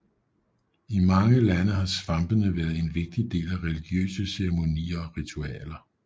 I mange lande har svampene været en vigtig del af religiøse ceremonier og ritualer